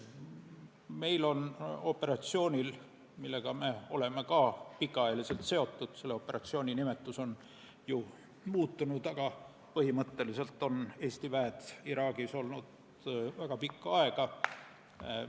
Me oleme selle operatsiooniga, mille nimetus on vahepeal muutunud, olnud pikaajaliselt seotud, Eesti väed on Iraagis olnud väga pikka aega.